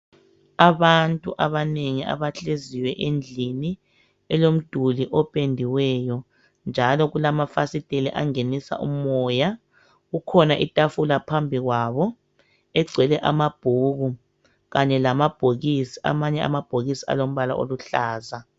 Abantu abanengi abahleziyo endlini elomduli opendiweyo njalo kulamafasiteli angenisa umoya. Kukhona itafula phambikwabo egcwele amabhuku kanye lamabhokisi amanye amabhokisi alombala oluhlaza.